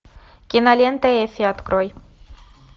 кинолента эффи открой